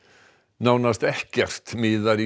nánast ekkert miðar í